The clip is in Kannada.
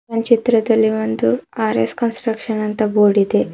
ಒಂದ್ ಚಿತ್ರದಲ್ಲಿ ಒಂದು ಆರ್_ಎಸ್ ಕನ್ಸ್ಟ್ರಕ್ಷನ್ ಅಂತ ಬೋರ್ಡ್ ಇದೆ.